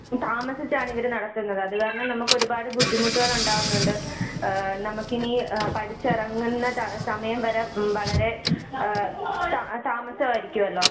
താമസിച്ചാണ് ഇവര് നടത്തുന്നത്. അതുകാരണം നമുക്ക് ഒരുപാട് ബുദ്ധിമുട്ടുകൾ ഉണ്ടാവുന്നുണ്ട്. ആ നമുക്കിനി ആ പഠിച്ചിറങ്ങുന്ന ടൈ സമയംവരെ മം വളരെ ആയ താ താമസം ആയിരിക്കുമല്ലോ?